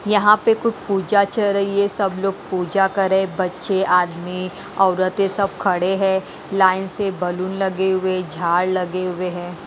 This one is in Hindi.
यहाँ पे कुछ पूजा चल रही है सब लोग पूजा करें बच्चे आदमी औरतें सब खड़े हैं लाइन से बैलून लगे हुए झाड़ लगे हुए हैं।